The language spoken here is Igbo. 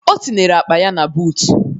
O tinyere akpa ya na buutu.